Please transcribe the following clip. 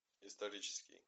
исторический